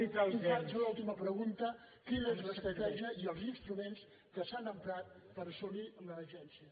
i faig l’última pregunta quina és l’estratègia i els instruments que s’han emprat per assolir l’agència